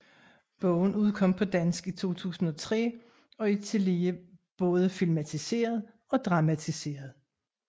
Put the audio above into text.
Bogen udkom på dansk i 2003 og er tillige både filmatiseret og dramamtiseret